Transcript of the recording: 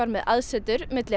með aðsetur milli